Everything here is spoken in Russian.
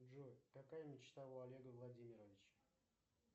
джой какая мечта у олега владимировича